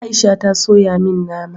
Aisha ta soya min nama